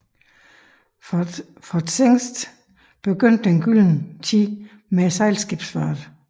For Zingst begyndte den gyldne tid med sejlskibsfarten